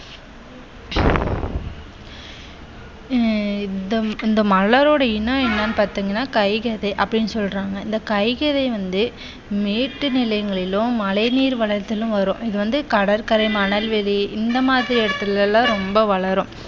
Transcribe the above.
ஆஹ் இந்த மலரோட இனம் என்னன்னு பார்த்தீங்கண்ணா கைகரை அப்படின்னு சொல்றாங்க. இந்த கைகரை வந்து மேற்கு நிலையங்களிலோ மழை நீர் வளர்ச்சியில் வரும். இது வந்து கடற்கரை மணல்வெளி இந்த மாதிரி இடத்தில் எல்லாம் ரொம்ப வளரும்.